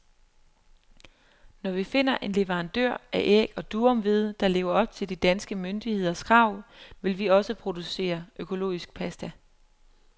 Når vi finder en leverandør af æg og durumhvede, der lever op til de danske myndigheders krav, vil vi også producere økologisk pasta.